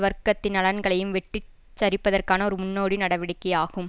வர்க்கத்தின் நலன்களையும் வெட்டி சரிப்பதற்கான ஒரு முன்னோடி நடவடிக்கையாகும்